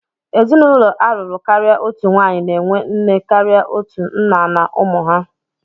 Ezinụlọ a lụrụ karịa otu nwaanyị na-enwe nne karịa otu, nna na ụmụ ha.